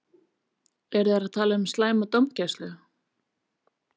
Eru þeir að tala um slæma dómgæslu?